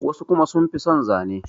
wasu kuma sun fi son Zane